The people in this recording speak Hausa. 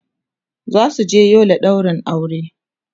zasu je Yola ɗaurin aure